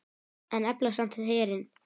En efla samt herinn.